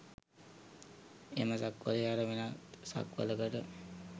එම සක්වළේ හැර වෙනත් සක්වළකට